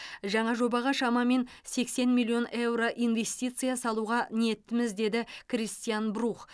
жаңа жобаға шамамен сексен миллион еуро инвестиция салуға ниеттіміз деді кристиан брух